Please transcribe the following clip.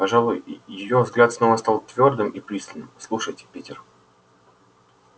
пожалуй её взгляд снова стал твёрдым и пристальным слушайте питер